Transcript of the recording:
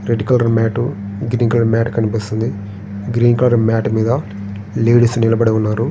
Door mat green colour మేట కనిపిస్తుంది.